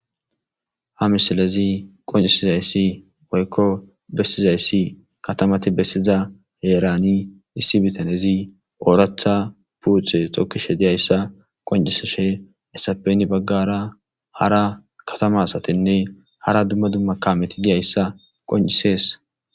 ha misilezi qoncisizayssi woykko bessizayssi katamati bessiza heerani issi bitanezi ooracha puuthe tokkishe diyayssa qonciseshe essapeni baggara hara katama asatenne hara dumma dumma kameti diyayssa qoncisees